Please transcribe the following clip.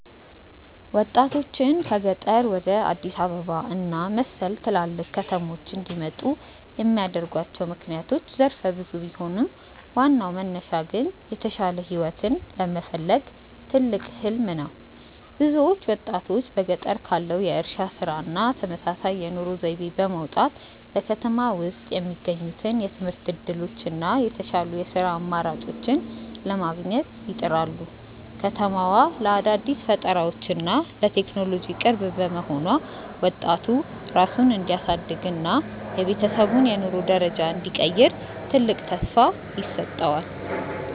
ወጣቶችን ከገጠር ወደ አዲስ አበባ እና መሰል ትላልቅ ከተሞች እንዲመጡ የሚያደርጓቸው ምክንያቶች ዘርፈ ብዙ ቢሆኑም፣ ዋናው መነሻ ግን የተሻለ ህይወትን የመፈለግ ትልቅ "ህሊም" ነው። ብዙዎቹ ወጣቶች በገጠር ካለው የእርሻ ስራ እና ተመሳሳይ የኑሮ ዘይቤ በመውጣት፣ በከተማ ውስጥ የሚገኙትን የትምህርት እድሎች እና የተሻሉ የስራ አማራጮችን ለማግኘት ይጥራሉ። ከተማዋ ለአዳዲስ ፈጠራዎች እና ለቴክኖሎጂ ቅርብ መሆኗ፣ ወጣቱ ራሱን እንዲያሳድግ እና የቤተሰቡን የኑሮ ደረጃ እንዲቀይር ትልቅ ተስፋ ይሰጠዋል።